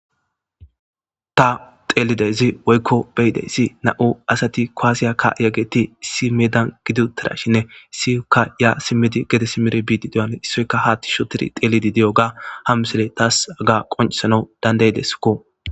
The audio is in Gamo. ta teelidezi woykko beyideyssi na7u asati koaasiya ka yageti si medan gidu tirashinne siyukka ya simedi gede simere biii deoale issoyka haatti shotir teelidi di7o ga hammisile taas aga qoncesana dandaydesko